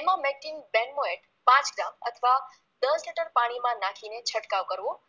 emamectin benzoate પાંચ ગ્રામ અથવા દસ લિટર પાણીમાંં નાખીને છંટકાવ કરવો